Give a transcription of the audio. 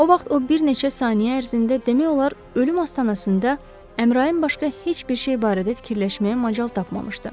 O vaxt o bir neçə saniyə ərzində demək olar ölüm astanasında Əmrayın başqa heç bir şey barədə fikirləşməyə macal tapmamışdı.